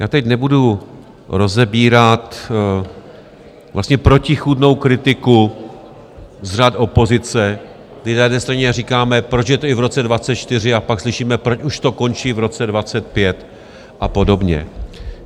Já teď nebudu rozebírat vlastně protichůdnou kritiku z řad opozice, kdy na jedné straně říká, proč je to i v roce 2024, a pak slyšíme, proč už to končí v roce 2025, a podobně.